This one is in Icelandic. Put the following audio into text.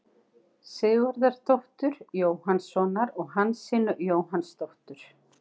Sigurðardóttur, Jóhannssonar og Hansínu Jóhannsdóttur.